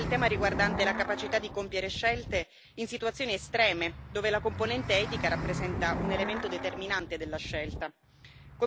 E ancora il tema riguardante la capacità di compiere scelte in situazioni estreme, dove la componente etica rappresenta un elemento determinante della scelta.